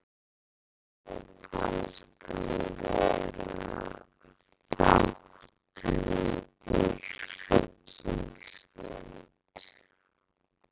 Erni fannst hann vera þátttakandi í hryllingsmynd.